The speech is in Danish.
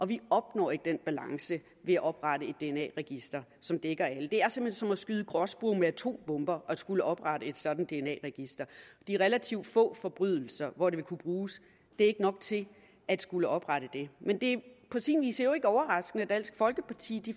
vi opnår ikke den balance ved at oprette et dna register som dækker alle det er simpelt hen som at skyde gråspurve med atombomber at skulle oprette et sådan dna register det er relativt få forbrydelser hvor det vil kunne bruges det er ikke nok til at skulle oprette det men det er på sin vis jo ikke overraskende at dansk folkeparti